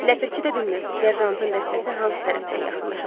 Ləpirçi də bilmirdi serjantın dəstəsi hansı tərəfdən yaxınlaşacaq.